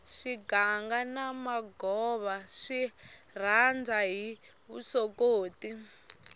swiganga na magova swi rhanda hi vusokoti